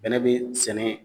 Bɛnɛ be sɛnɛ